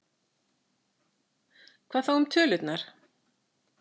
Hvað þá um tölurnar?